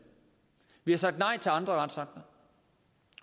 vi har sagt nej til andre retsakter